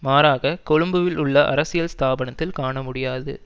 மாறாக கொழும்பில் உள்ள அரசியல் ஸ்தாபனத்தில் காண முடியாது